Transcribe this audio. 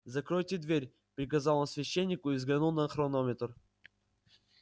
закройте дверь приказал он священнику и взглянул на хронометр